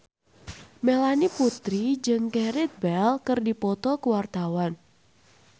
Melanie Putri jeung Gareth Bale keur dipoto ku wartawan